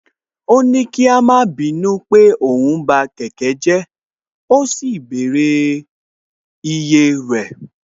Ó ní kí a má bínú pé òun ba kẹ̀kẹ́ jẹ́ ó sì bẹ̀rẹ̀ iye rẹ̀